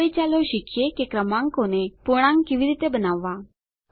હવે ચાલો શીખીએ કે ક્રમાંકોને પૂર્ણાંક કેવી રીતે બનાવવા